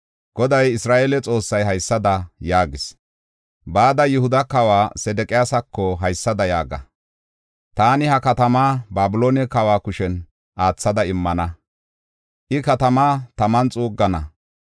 Goday Isra7eele Xoossay haysada yaagis; “Bada Yihuda kawa Sedeqiyaasako haysada yaaga: ‘Taani ha katamaa Babiloone kawa kushen aathada immana; I katamaa taman xuuggana.